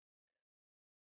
Gangi þeim vel án James.